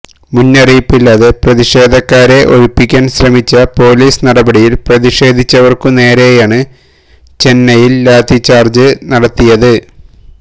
മുന്നറിയിപ്പില്ലാതെ പ്രതിഷേധക്കാരെ ഒഴിപ്പിക്കാന് ശ്രമിച്ച പോലിസ് നടപടിയില് പ്രതിഷേധിച്ചവര്ക്കു നേരെയാണ് ചെന്നൈയില് ലാത്തിച്ചാര്ജ് നടത്തിയത്